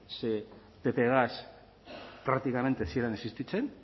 ze ppgaz praktikamente ez ziren existitzen